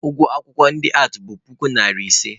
Ụgwọ akwụkwọ ndị aatị bụ puku iri ise.